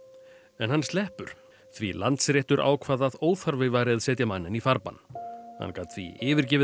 en hann sleppur því Landsréttur ákvað að óþarfi væri að setja manninn í farbann hann gat því yfirgefið